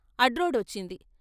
అడ్రొడ్డు వచ్చింది.